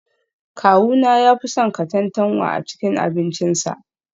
Kawuna ya fi son katantanwa a cikin abincinsa